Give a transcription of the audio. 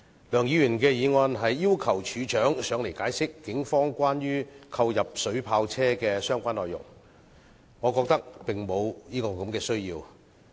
梁議員的議案要求處長解釋關於警方購入水炮車的相關細則，我覺得並無需要。